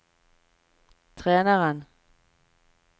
treneren